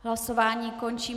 Hlasování končím.